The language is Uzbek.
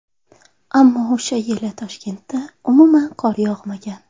Ammo o‘sha yili Toshkentda umuman qor yog‘magan.